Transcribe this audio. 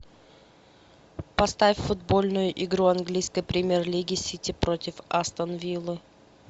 поставь футбольную игру английской премьер лиги сити против астон виллы